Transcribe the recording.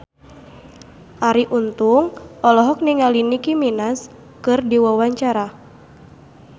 Arie Untung olohok ningali Nicky Minaj keur diwawancara